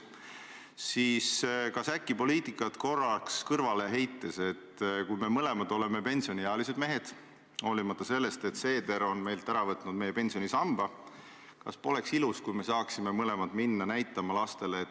Ma olen seda rääkinud ka, et viimati, kui mul oli võimalus käia – veebruari lõpus, kui veel sai käia – Soomemaal ja kohtuda Soome presidendiga, siis me mõlemad tõdesime, et tegelikult tunneli ehitusega tuleb edasi minna ja on oluline see, et me hoiame ikkagi seda juhtlõnga ministeeriumide tasemel.